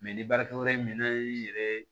Mɛ ni baarakɛyɔrɔ in mina y'i yɛrɛ